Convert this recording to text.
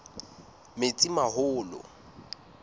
metsimaholo